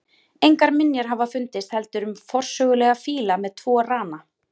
Engar minjar hafa fundist heldur um forsögulega fíla með tvo rana.